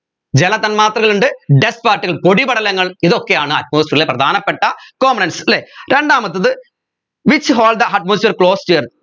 ജലതന്മാത്രകളുണ്ട് dust particles പൊടിപടലങ്ങൾ ഇതൊക്കെയാണ് atmosphere ലെ പ്രധാനപ്പെട്ട components അല്ലെ രണ്ടാമത്തേത് which hold the atmosphere closer